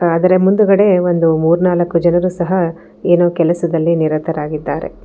ಅದರ ಮುಂದುಗಡೆ ಒಂದು ಮೂರ್ನಾಲ್ಕು ಜನರು ಸಹ ಏನೋ ಕೆಲಸದಲ್ಲಿ ನಿರತರಾಗಿದ್ದಾರೆ.